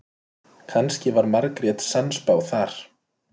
Kannski var Margrét sannspá þar.